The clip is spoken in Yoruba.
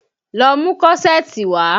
Lọ mú kọ́ṣẹ̀ẹ̀tì wá!